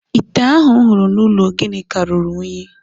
Ite ahụ m hụrụ n’ụlọ Ginika ruru unyi